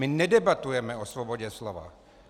My nedebatujeme o svobodě slova.